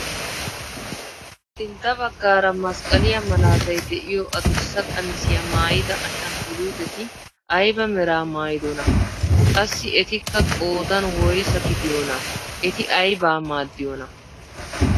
Sintta baggaara masqqaliyaa malaatay de'iyoo adussa qamisiyaa maayida ashanguluuteti ayba meraa maayidonaa? qassi etikka qoodan woysaa gidiyoonaa? Eti aybaa maaddiyoonaa?